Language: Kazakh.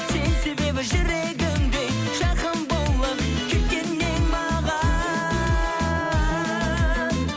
сен себебі жүрегімде жақын болып кеткен едің маған